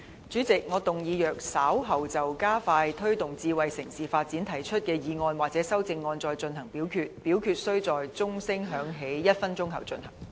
主席，我動議若稍後就"加快推動智慧城市發展"所提出的議案或修正案再進行點名表決，表決須在鐘聲響起1分鐘後進行。